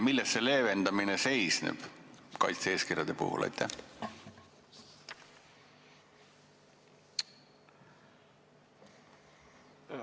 Milles see leevendamine kaitse-eeskirjade puhul seisneb?